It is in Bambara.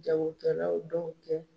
Jagokɛla dɔw cɛ.